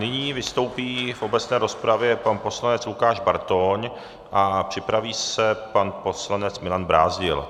Nyní vystoupí v obecné rozpravě pan poslanec Lukáš Bartoň a připraví se pan poslanec Milan Brázdil.